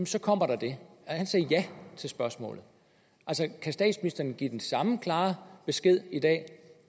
så kommer der det han sagde ja til spørgsmålet kan statsministeren give den samme klare besked i dag